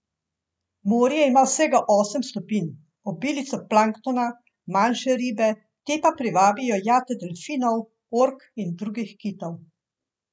Morje ima vsega osem stopinj, obilico planktona, manjše ribe, te pa privabijo jate delfinov, ork in drugih kitov.